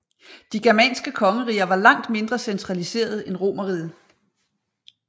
De germanske kongeriger var langt mindre centraliseret end Romerriget